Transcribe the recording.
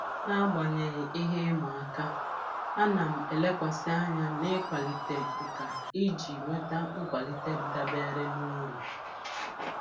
N'agbanyeghị ihe ịma aka, a na m elekwasị anya n'ịkwalite nkà iji nweta nkwalite dabere na uru.